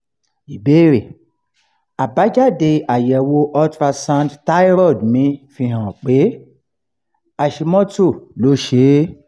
ìbéèrè: àbájáde àyẹ̀wò ultrasound thyroid mi fi hàn pé hashimoto ló ṣe é